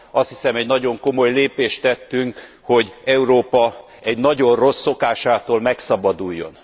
Azt hiszem egy nagyon komoly lépést tettünk, hogy Európa egy nagyon rossz szokásától megszabaduljon.